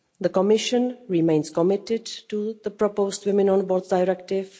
The Commission remains committed to the proposed Women on Boards Directive.